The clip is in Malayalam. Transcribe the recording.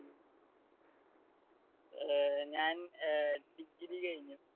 ഏർ ഞാൻ ഏർ degree കഴിഞ്ഞു.